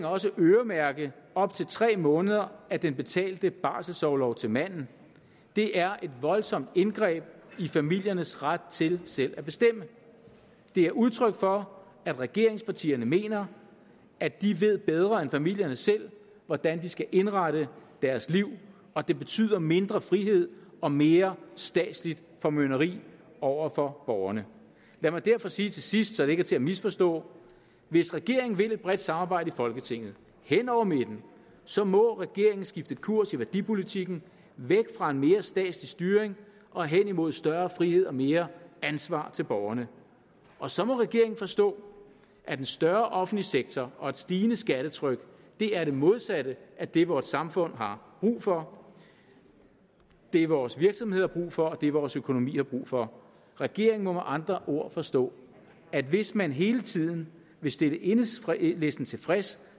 også øremærke op til tre måneder af den betalte barselorlov til manden det er et voldsomt indgreb i familiernes ret til selv at bestemme det er udtryk for at regeringspartierne mener at de ved bedre end familierne selv hvordan de skal indrette deres liv og det betyder mindre frihed og mere statsligt formynderi over for borgerne lad mig derfor til sidst sige så det ikke er til at misforstå hvis regeringen vil et bredt samarbejde i folketinget hen over midten så må regeringen skifte kurs i værdipolitikken væk fra en mere statslig styring og hen imod større frihed og mere ansvar til borgerne og så må regeringen forstå at en større offentlig sektor og et stigende skattetryk er det modsatte af det vort samfund har brug for det vores virksomheder brug for og det vores økonomi har brug for regeringen må med andre ord forstå at hvis man hele tiden vil stille enhedslisten tilfreds